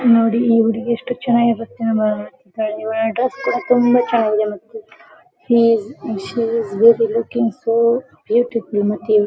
ಇಲ್ಲಿ ನೋಡಿ ಈ ಹುಡುಗಿ ಎಷ್ಟು ಚನ್ನಾಗಿ ನೃತ್ಯ ಮಾಡುತ್ತಿದ್ದಾಳೆ ಇವಳ ಡ್ರೆಸ್ಸ್ ಕೂಡ ತುಂಬಾ ಚನ್ನಾಗಿದೆ ಮತ್ತು mesh shoes she is very looking so beautiful materials .